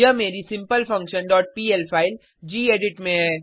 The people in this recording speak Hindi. यहाँ मेरी simple function dot PL file gedit